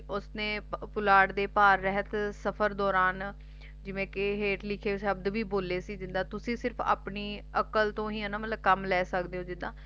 ਉਸਨੇ ਪੁਲਾੜ ਦੇ ਪਾਰ ਰਹਿਤ ਸਫ਼ਰ ਦੌਰਾਨ ਜਿਵੇਂ ਕਿ ਹੇਠ ਲਿਖੇ ਸ਼ਬਦ ਵੀ ਬੋਲੇ ਸੀ ਜਿੱਦਾ ਤੁਸੀ ਸਿਰਫ਼ ਆਪਣੀ ਅਕਲ ਤੋ ਹੀ ਕੰਮ ਲੈ ਸਕਦੇ ਹੋ ਜਿੱਦਾ